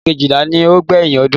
Oṣù kejìlá ni ó gbẹ̀yìn ọdún.